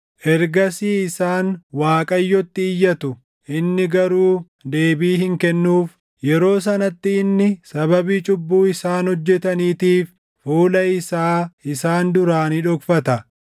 Ergasii isaan Waaqayyotti iyyatu; inni garuu deebii hin kennuuf. Yeroo sanatti inni sababii cubbuu isaan hojjetaniitiif fuula isaa isaan duraa ni dhokfata.